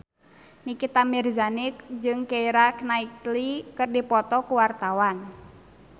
Nikita Mirzani jeung Keira Knightley keur dipoto ku wartawan